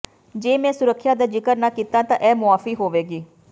ਜੇ ਮੈਂ ਸੁਰੱਖਿਆ ਦਾ ਜ਼ਿਕਰ ਨਾ ਕੀਤਾ ਤਾਂ ਇਹ ਮੁਆਫੀ ਹੋਵੇਗੀ